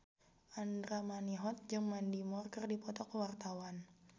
Andra Manihot jeung Mandy Moore keur dipoto ku wartawan